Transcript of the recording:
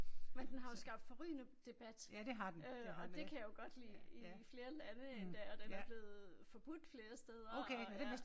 Men den har jo skabt forrygende debat øh og det kan jeg jo godt lide i flere lande endda. Og den er blevet forbudt flere steder og ja